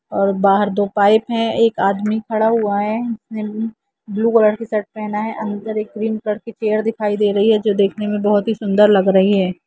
और बहार दो पाइप है एक आदमी खड़ा हुआ है उसने ब्लू कलर की शर्ट पहना है अंदर ग्रीन कलर की चेयर दिखाई दे रह है जो देखने में बहुत ही सुन्दर लग रही है।